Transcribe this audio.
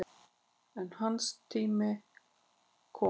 En hans tími kom.